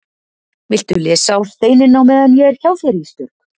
Viltu lesa á steininn á meðan ég er hjá þér Ísbjörg?